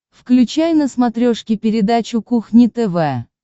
включай на смотрешке передачу кухня тв